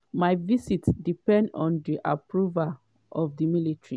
"my visits depend on di approval of di military.